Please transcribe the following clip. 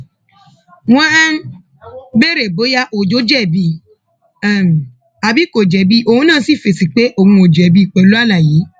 wọn um béèrè bóyá béèrè bóyá ọjọ jẹbi um àbí kò jẹbi òun náà sì fèsì pé òun ò jẹbi pẹlú àlàyé